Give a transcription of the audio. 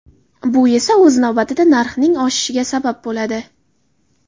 Bu esa o‘z navbatida narxning oshishiga sabab bo‘ladi.